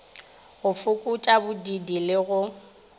go fokotša bodiidi le go